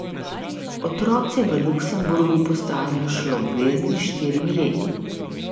Otroci v Luksemburgu postanejo šoloobvezni s štirimi leti.